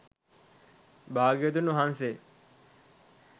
භාග්‍යවතුන් වහන්සේ